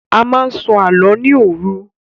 A máa n sọ àlọ ni òru.